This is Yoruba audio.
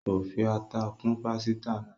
kọ fí atá kún pàsìta náa